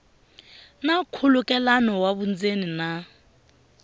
na nkhulukelano wa vundzeni na